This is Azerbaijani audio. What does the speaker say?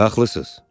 Haqlısınız.